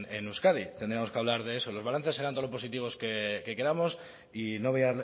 en euskadi tendríamos que hablar de eso los balances serán todo lo positivos que queramos y no voy